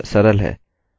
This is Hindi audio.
यह सरल है